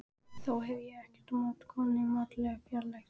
Þó hef ég ekkert á móti konunni í mátulegri fjarlægð.